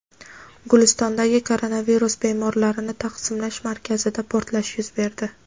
Gulistondagi koronavirus bemorlarini taqsimlash markazida portlash yuz berdi.